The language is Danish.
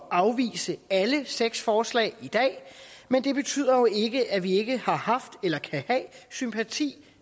afvise alle seks forslag i dag men det betyder jo ikke at vi ikke har haft eller kan have sympati